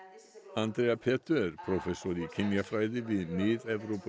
Andrea Petö er prófessor í kynjafræði við Mið